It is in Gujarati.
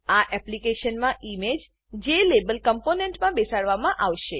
આ એપ્લીકેશનમાં ઈમેજ જ્લાબેલ જેલેબલ કમ્પોનેંટમાં બેસાડવામાં આવશે